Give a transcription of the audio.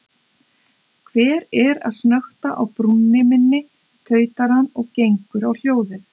Hver er að snökta á brúnni minni, tautar hann og gengur á hljóðið.